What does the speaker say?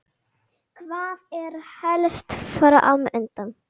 Hvað er helst fram undan?